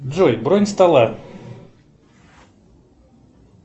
джой бронь стола